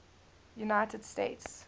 united states